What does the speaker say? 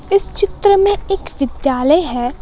इस चित्र में एक विद्यालय है।